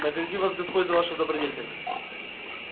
награди вас господь за вашу добродетель